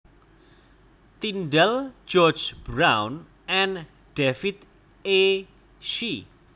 Tindall George Brown and David E Shi